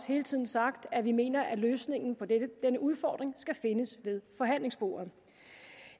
hele tiden sagt at vi mener løsningen på denne udfordring skal findes ved forhandlingsbordet